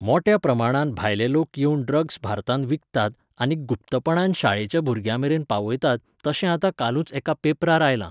मोट्या प्रमाणांत भायले लोक येवन ड्रग्स भारतांत विकतात आनीक गुप्तपणान शाळेच्या भुरग्यांमेरेन पावयतात तशें आतां कालूच एका पेपरार आयलां.